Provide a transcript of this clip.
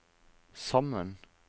sammen